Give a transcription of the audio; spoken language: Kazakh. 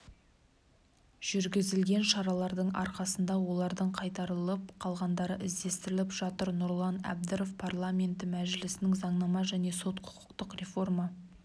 жүргізілген шаралардың арқасында олардың қайтарылып қалғандары іздестіріліп жатыр нұрлан әбдіров парламенті мәжілісінің заңнама және сот-құқықтық реформа